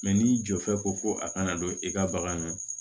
n'i jɔ fɛ ko a kana don i ka bagan na